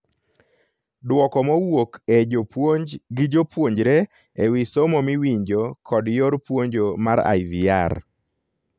Duoko mowuok e jopuonj gi jopuonjre e wi somo miwinjo kod yor puonjo mar IVR